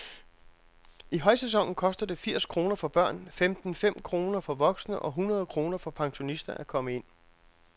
I højsæsonen koster det firs kroner for børn, femten fem kroner for voksne og hundrede kroner for pensionister at komme ind.